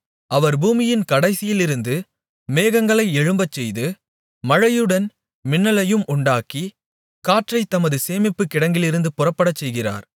அவர் பூமியின் கடைசியிலிருந்து மேகங்களை எழும்பச்செய்து மழையுடன் மின்னலையும் உண்டாக்கி காற்றைத் தமது சேமிப்புக்கிடங்கிலிருந்து புறப்படச்செய்கிறார்